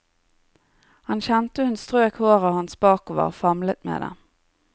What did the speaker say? Han kjente hun strøk håret hans bakover, famlet med det.